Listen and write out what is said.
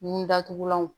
Nun datugulanw